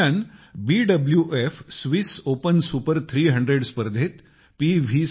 ह्या दरम्यान BWF Swiss Open Super 300 स्पर्धेत पी